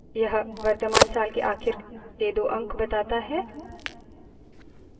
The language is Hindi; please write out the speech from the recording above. यह वर्तमान साल के आखिर दो अंक बताता है